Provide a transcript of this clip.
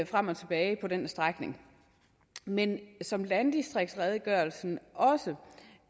frem og tilbage på den strækning men som landdistriktsredegørelsen også